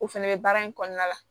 O fɛnɛ bɛ baara in kɔnɔna la